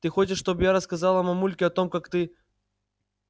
ты хочешь чтобы я рассказала мамульке о том как ты